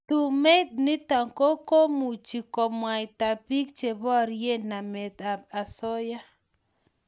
Tumeit nitok ko komuchi komwaita piik che borie namet ab asoya